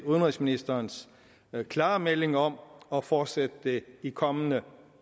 udenrigsministerens klare melding om at fortsætte det i kommende